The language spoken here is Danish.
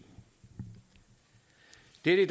det er i